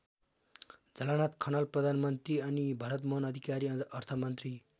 झलनाथ खनाल प्रधानमन्त्री अनि भरतमोहन अधिकारी अर्थमन्त्री।